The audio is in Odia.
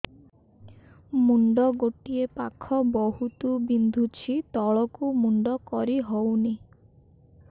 ମୁଣ୍ଡ ଗୋଟିଏ ପାଖ ବହୁତୁ ବିନ୍ଧୁଛି ତଳକୁ ମୁଣ୍ଡ କରି ହଉନି